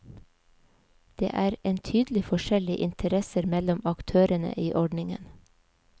Det er en tydelig forskjell i interesser mellom aktørene i ordningen.